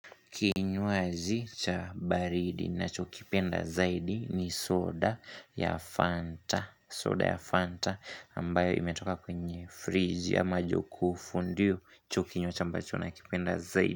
Kinywaji cha baridi nachokipenda zaidi ni soda ya Fanta soda ya Fanta ambayo imetoka kwenye fridge ama jokufu ndicho kinywaji cha ambacho nakipenda zaidi.